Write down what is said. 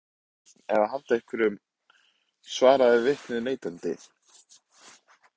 Spurningunni Var einhver að draga einhvern eða halda á einhverjum? svaraði vitnið neitandi.